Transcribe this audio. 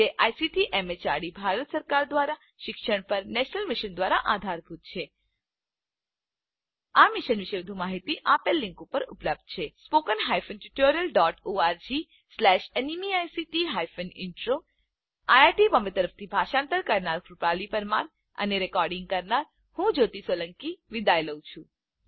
જે ICT MHRD Bharat સરકાર દ્વારા શિક્ષણ પર નેશનલ મિશન દ્વારા આધારભૂત છે આ મિશન વિશે વધુ માહીતી આ લીંક ઉપર ઉપલબ્ધ છે160 spoken hyphen tutorial dot org slash NMEICT hyphen intro IIT Bombay તરફથી ભાષાંતર કરનાર હું કૃપાલી પરમાર વિદાય લઉં છું